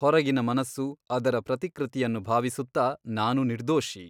ಹೊರಗಿನ ಮನಸ್ಸು ಅದರ ಪ್ರತಿಕೃತಿಯನ್ನು ಭಾವಿಸುತ್ತಾ ನಾನು ನಿರ್ದೋಷಿ !